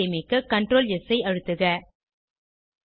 file ஐ சேமிக்க CtrlS ஐ அழுத்துக